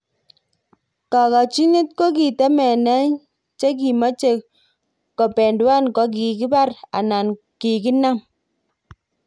Kapochinet kokitemenee chikimeche kobendua kokikibar anan kikinam.